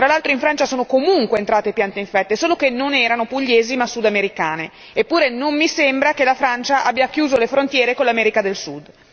Tra l'altro in Francia sono comunque entrate piante infette, solo che non erano pugliesi ma sudamericane, eppure non mi sembra che la Francia abbia chiuso le frontiere con l'America del Sud.